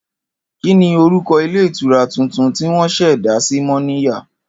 Kí ni orúko̩ ilé ìtura tuntun tí wó̩n sè̩ dá sí Mó̩níya?